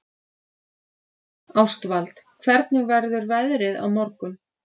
Ástvald, hvernig verður veðrið á morgun?